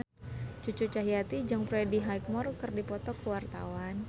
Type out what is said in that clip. Cucu Cahyati jeung Freddie Highmore keur dipoto ku wartawan